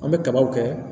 An bɛ kabaw kɛ